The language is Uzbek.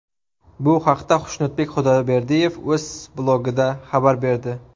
Bu haqda Xushnudbek Xudayberdiyev o‘z blogida xabar berdi .